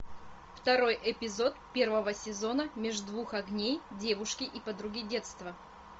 второй эпизод первого сезона меж двух огней девушки и подруги детства